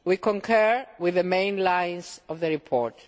We concur with the main lines of the report.